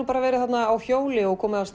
verið þarna á hjóli og komið af